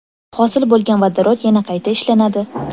Hosil bo‘lgan vodorod yana qayta ishlanadi.